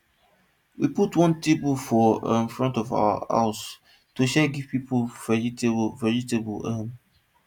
we put one table for um front of our house to to share give people vegetable vegetable um